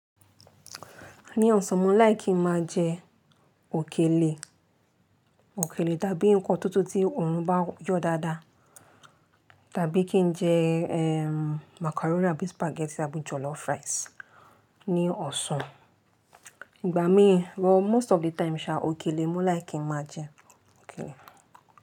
Ní ọ̀sán mo láìki kí máa jẹ òkèlè, òkèlè tàbí ǹkan tútù tí òòrùn bá yọ̀ dáadáa. Tàbí kí n jẹ, eh, macaroni àbí spaghetti àbí jollof rice ní ọ̀sán. Ìgbà mí, well most of the time sha òkèlè mo like kí máa jẹ òkèlè.